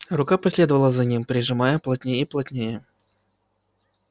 рука последовала за ним прижимаясь плотнее и плотнее